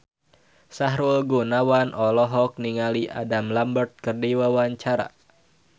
Sahrul Gunawan olohok ningali Adam Lambert keur diwawancara